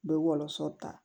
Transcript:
N bɛ wɔlɔsɔ ta